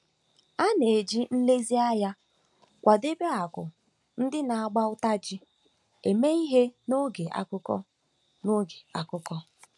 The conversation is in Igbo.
A na-eji nlezianya kwadebe akụ ndị na-agba ụta ji eme ihe n'oge akụkọ. n'oge akụkọ.